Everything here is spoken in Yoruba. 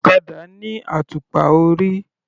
Ọ̀kadà ní àtùpà orí.